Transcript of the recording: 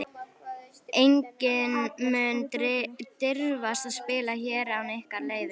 Enginn mun dirfast að spila hér án ykkar leyfis.